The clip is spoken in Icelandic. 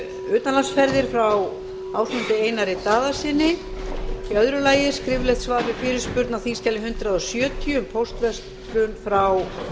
utanlandsferðir frá ásmundi einari daðasyni öðrum skriflegt svar við fyrirspurn á þingskjali hundrað sjötíu um póstverslun frá